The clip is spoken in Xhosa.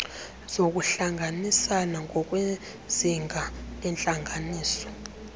zokuhlanganisana ngokwezinga lentlanganiso